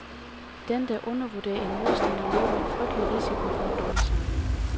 Den der undervurderer en modstander løber en frygtelig risiko for at dumme sig.